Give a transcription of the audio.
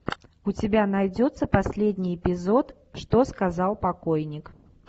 у тебя найдется последний эпизод что сказал покойник